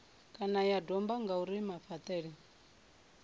kana ya domba ngauri mafhaṱele